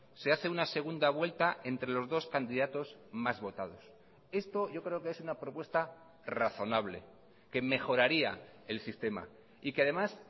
se hace una segunda vuelta entre los dos candidatos más votados esto yo creo que es una propuesta razonable que mejoraría el sistema y que además